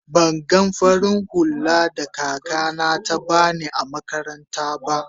ban gan farin hulla da kaka na ta bani na makaranta ba.